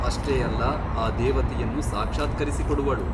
ಅಷ್ಟೇ ಅಲ್ಲ ಆ ದೇವತೆಯನ್ನು ಸಾಕ್ಷಾತ್ಕರಿಸಿಕೊಡುವಳು.